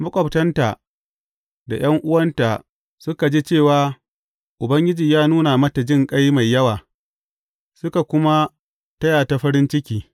Maƙwabtanta da ’yan’uwanta suka ji cewa Ubangiji ya nuna mata jinƙai mai yawa, suka kuma taya ta farin ciki.